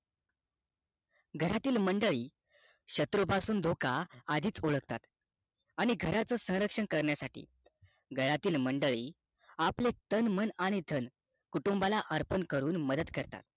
घरातील मंडळी शत्रूपासून धोका आदीच ओळखतात आणि घराचं स्वरक्षण करण्यासाठी घरातील मंडळी आपले तन मन धन कुटूंबाला अर्पण करून मदत करतात